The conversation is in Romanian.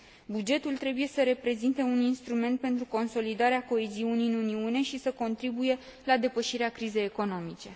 Bugetul trebuie să reprezinte un instrument pentru consolidarea coeziunii în Uniune și să contribuie la depășirea crizei economice.